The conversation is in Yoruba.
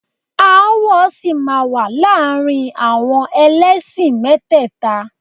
Aáwọ̀ sì máa wà láàrin àwọn ẹlẹ́sìn mẹ́tẹ́ẹ̀ta